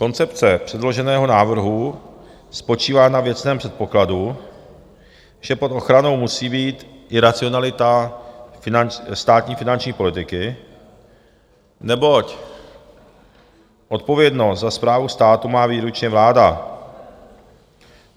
Koncepce předloženého návrhu spočívá na věcném předpokladu, že pod ochranou musí být i racionalita státní finanční politiky, neboť odpovědnost za správu státu má výlučně vláda.